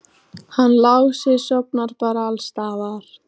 Hann Lási sofnar bara alls staðar.